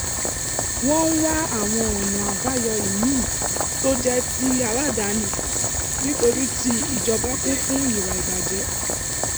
wọ́n ń wá àwọn ọ̀nà àbáyọ ìmíì tó jẹ́ ti aládàáni nítorí ti ìjọba kún fún ìwà ìbàjẹ́